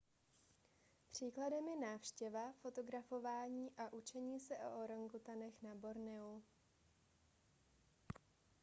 příkladem je návštěva fotografování a učení se o orangutanech na borneu